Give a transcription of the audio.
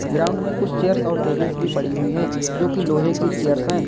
Ground में कुछ chairs और टेबल्स भी पड़ी हुई हैं जो की लोहे की चेयर हैं।